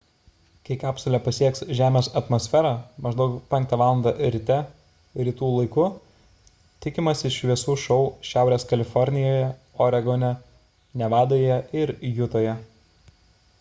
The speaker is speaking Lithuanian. kai kapsulė pasieks žemės atmosferą maždaug 5 val. ryte rytų laiku tikimasi šviesų šou šiaurės kalifornijoje oregone nevadoje ir jutoje